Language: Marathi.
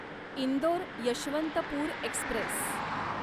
इंदोर यशवंतपूर एक्स्प्रेस